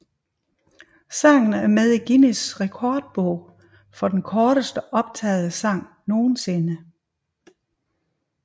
Sangen er med i Guinness Rekordbog for den korteste optagede sang nogensinde